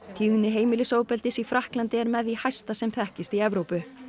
tíðni heimilisofbeldis í Frakklandi er með því hæsta sem þekkist í Evrópu